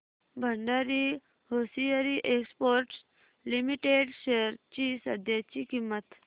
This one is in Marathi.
Bhandari hosiery exports limited shares ची सध्याची किंमत